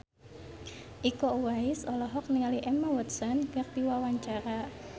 Iko Uwais olohok ningali Emma Watson keur diwawancara